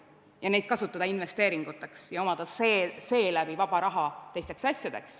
Me ei saa kasutada seda raha investeeringuteks ja omada tänu sellele vaba raha muudeks asjadeks.